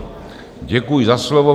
Děkuji za slovo.